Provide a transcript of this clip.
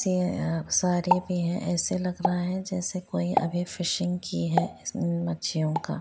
जे अ सारे में ऐसे लग रहें है जेसे कोई अभी फिशिंग की है इस म मछियो का--